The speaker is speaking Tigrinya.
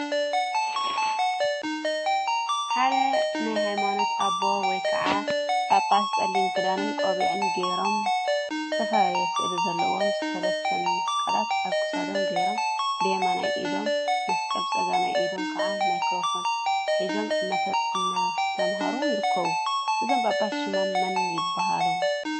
ሓደ ናይ ሃይማኖት አቦ ወይ ከዓ ጳጳስ ፀሊም ክዳንን ቆቢዕን ገይሮምዝተፈላለየ ስእሊ ዘለዎም ሰለስተ መስቀላት አብ ክሳዶም ገይሮም ብየማናይ ኢዶም መስቀል ብፀጋማይ ኢዶም ከዓ ማይክሮፎን ሒዞም እናስተምሃሩ ይርከቡ፡፡ እዞም ጳጳስ ሽሞም መን ይበሃሉ?